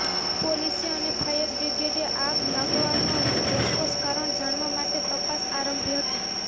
પોલીસે અને ફાયરબ્રિગેડે આગ લાગવાનું ચોક્કસ કારણ જાણવા માટે તપાસ આરંભી હતી